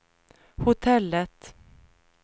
hotellet